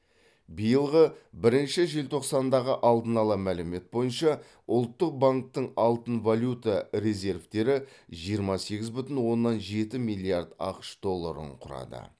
биылғы бірінші желтоқсандағы алдын ала мәлімет бойынша ұлттық банктің алтын валюта резервтері жиырма сегіз бүтін оннан жеті миллиард ақш долларын құрады